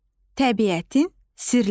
Təbiətin sirləri.